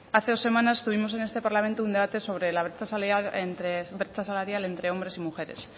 hace dos semanas tuvimos en este parlamento un debate sobre la brecha salarial entre hombres y mujeres